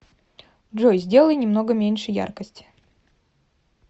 джой сделай немного меньше яркость